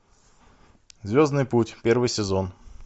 звездный путь первый сезон